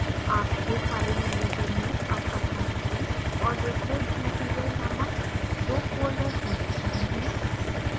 आपके file manager में अब assignments और reference material named 2 folders होने चाहिए